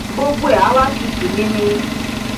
gbogbo ẹ á wá tutù nini